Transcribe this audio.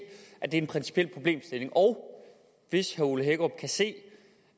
at det er en principiel problemstilling og hvis herre ole hækkerup kan se